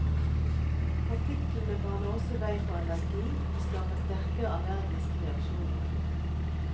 Partiklene baner også vei for allergi og skaper sterkere allergiske reaksjoner.